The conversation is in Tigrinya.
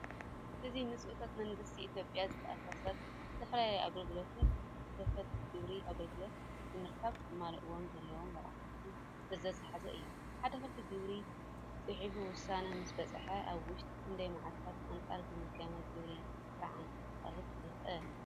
እዚ ምስ እቶት መንግስቲ ኢትዮጵያ ዝተኣሳሰሩ ዝተፈላለዩ ኣገልግሎታትን ከፈልቲ ግብሪ ኣገልግሎታት ንምርካብ ከማልእዎም ዘለዎም ረቛሒታትን ዝርዝር ዝሓዘ እዩ። ሓደ ከፋሊ ግብሪ ጽሑፍ ውሳነ ምስ በጽሖ ኣብ ውሽጢ ክንደይ መዓልታት ኣንጻር ምግምጋም ግብሪ ጥርዓን ከቕርብ ይኽእል?